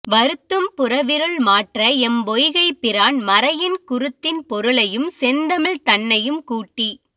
வருத்தும் புறவிருள் மாற்ற எம் பொய்கைப்பிரான் மறையின் குருத்தின் பொருளையும் செந்தமிழ் தன்னையும் கூட்டி